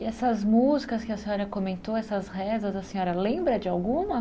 E essas músicas que a senhora comentou, essas rezas, a senhora lembra de alguma?